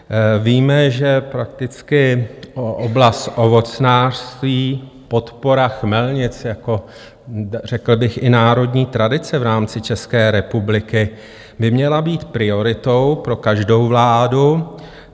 Víme, že prakticky oblast ovocnářství, podpora chmelnic jako řekl bych i národní tradice v rámci České republiky, by měla být prioritou pro každou vládu.